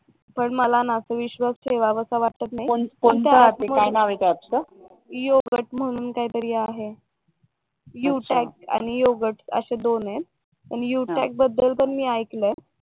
पण मला ना असा विश्वास ठेवावासा वाटत नाही म्हणून काहीतरी आहे यु चाट आणि योगड असे दोन आहेत पण यु चाट बद्दल पण मी ऐकलंय